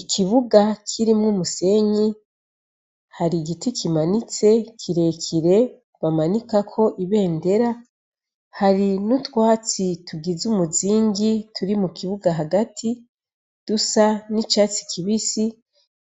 Ikibuga kirimwo umusenyi, hari igiti kimanitse kirekire bamanikako ibendera, hari n'utwatsi tugize umuzingi turi mu kibuga hagati dusa n'icatsi kibisi,